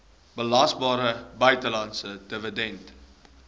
belasbare buitelandse dividend